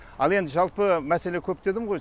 ал енді жалпы мәселе көп дедім ғой